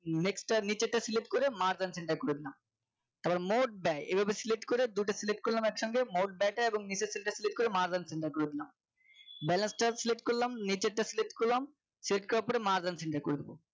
next টার নিচের টা Select করে Mark and centre করে দিলাম তারপর মোট ব্যয় এইভাবে Select করে দুইটা Select করলাম একসঙ্গে মোট ব্যয় টা এবং নিচের cell তা Select করে Mark and centre করে দিলাম balance টা Select করলাম নিচেরটা Select করলাম Select করার পরে Mark and centre করে দেব